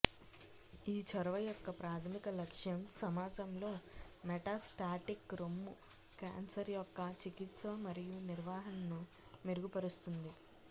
ఈ చొరవ యొక్క ప్రాధమిక లక్ష్యం సమాజంలో మెటాస్టాటిక్ రొమ్ము క్యాన్సర్ యొక్క చికిత్స మరియు నిర్వహణను మెరుగుపరుస్తుంది